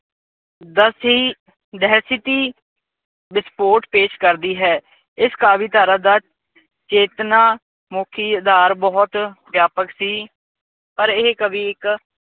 ਦਸੀ ਦਹਿਸ਼ਤੀ ਵਿਸਫੋਟ ਪੇਸ਼ ਕਰਦੀ ਹੈ। ਇਸ ਕਾਵੀਧਾਰਾ ਦਾ ਚੇਤਨਾ ਮੁਖੀ ਅਧਾਰ ਬਹੁਤ ਵਿਆਪਕ ਸੀ। ਪਰ ਇਹ ਕਵੀ ਇੱਕ